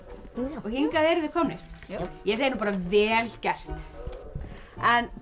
og hingað eruð þið komnir já ég segi nú bara vel gert en ef